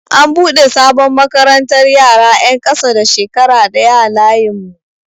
An buɗe sabon makarantar yara 'yan ƙasa da shekara ɗaya a layin mu.